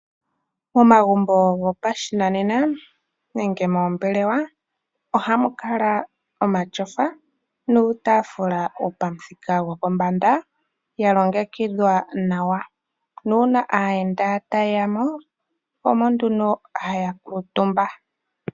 Momagumbo gopashinanena nenge moombelewa ohamu kala omatyofa oshowo iitafula yopamuthika gwopombanda ya longekidhwa nawa. Uuna aayenda ta yeya mo omo nduno haya kuutumba.